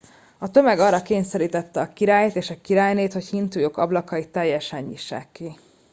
a tömeg arra kényszerítette a királyt és a királynét hogy hintójuk ablakait teljesen nyissák ki